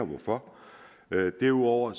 hvorfor derudover